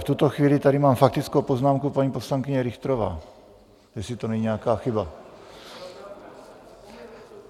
V tuto chvíli tady mám faktickou poznámku paní poslankyně Richterové, jestli to není nějaká chyba.